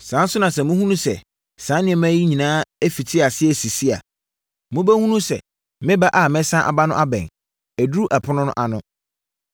Saa ara nso na sɛ mohunu sɛ saa nneɛma yi nyinaa afiti aseɛ resisi a, mobɛhunu sɛ meba a mɛsane aba no abɛn, aduru apono ano.